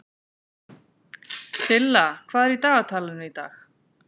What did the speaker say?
Silla, hvað er í dagatalinu í dag?